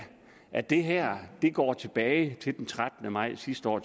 at det her går tilbage til den trettende maj sidste år